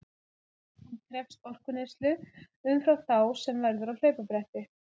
Hann krefst orkueyðslu umfram þá sem verður á hlaupabretti.